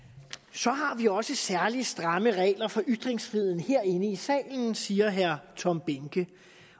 så har vi også særlig stramme regler for ytringsfriheden herinde i salen siger herre tom behnke